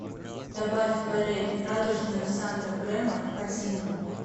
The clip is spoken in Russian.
добавь форель радужную санта бремор в корзину